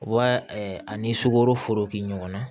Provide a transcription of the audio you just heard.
Wa ani sukaro foro kɛ ɲɔgɔnna